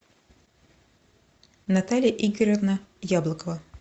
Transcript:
наталья игоревна яблокова